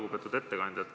Lugupeetud ettekandja!